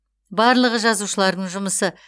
барлығы жазушылардың жұмысы